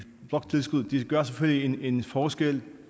bloktilskud gør selvfølgelig en forskel